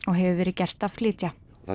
hefur verið gert að flytja